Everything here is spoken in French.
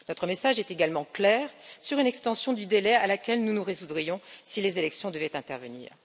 Notre message est également clair sur une extension du délai à laquelle nous nous résoudrions si les élections devaient intervenir.